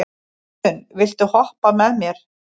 Jötunn, viltu hoppa með mér?